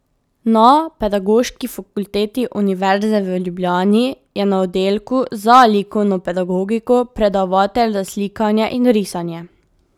Na Pedagoški fakulteti Univerze v Ljubljani je na oddelku za likovno pedagogiko predavatelj za slikanje in risanje.